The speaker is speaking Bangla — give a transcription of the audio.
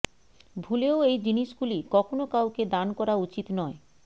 ভুলেও এই জিনিসগুলি কখনও কাউকে দান করা উচিত নয়